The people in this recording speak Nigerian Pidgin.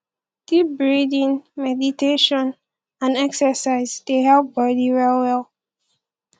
deep breathing meditation and exercise dey help body well well